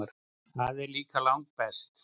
Það er líka langbest.